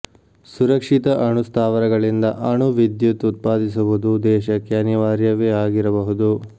ಸುರಕ್ಷಿತ ಅಣು ಸ್ಥಾವರಗಳಿಂದ ಅಣು ವಿದ್ಯುತ್ ಉತ್ಪಾದಿಸುವುದು ದೇಶಕ್ಕೆ ಅನಿವಾರ್ಯವೇ ಆಗಿರಬಹುದು